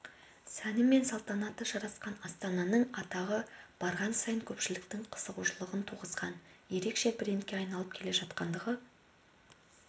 сәні мен салтанаты жарасқан астананың атағы барған сайын көпшіліктің қызығушылығын туғызған ерекше брендке айналып келе жатқандығы